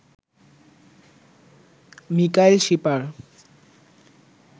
Mikail Shipar